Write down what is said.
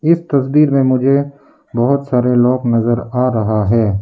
इस तस्वीर में मुझे बहोत सारे लोग नजर आ रहा है।